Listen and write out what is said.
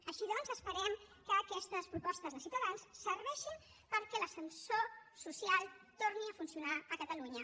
així doncs esperem que aquestes propostes de ciutadans serveixin perquè l’ascensor social torni a funcionar a catalunya